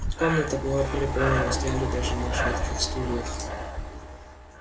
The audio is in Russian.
комната была переполнена стояли даже на шатких стульях